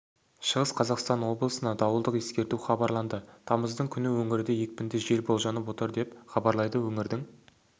шығыс қазақстан облысына дауылдық ескерту хабарланды тамыздың күні өңірде екпінді жел болжанып отыр деп хабарлайды өңірдің